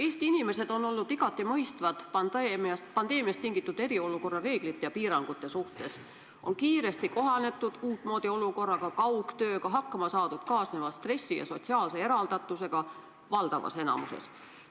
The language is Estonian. Eesti inimesed on olnud igati mõistvad pandeemiast tingitud eriolukorra reeglite ja piirangute suhtes, kiiresti on kohanetud uutmoodi olukorra ja kaugtööga, hakkama on saadud kaasneva stressi ja sotsiaalse eraldatusega, valdavas enamuses.